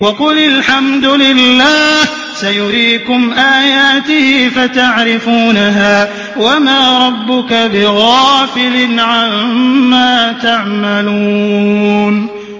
وَقُلِ الْحَمْدُ لِلَّهِ سَيُرِيكُمْ آيَاتِهِ فَتَعْرِفُونَهَا ۚ وَمَا رَبُّكَ بِغَافِلٍ عَمَّا تَعْمَلُونَ